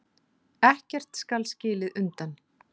Ekkert skal skilið undan.